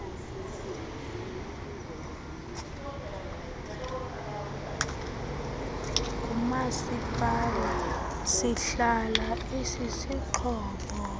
ngumasipala sihlala isisixhobo